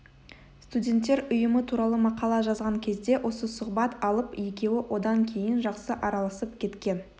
студенттер ұйымы туралы мақала жазған кезде осы сұхбат алып екеуі одан кейін жақсы араласып кеткен